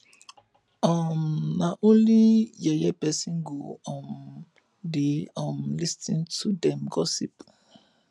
um na only yeye person go um dey um lis ten to dem gossip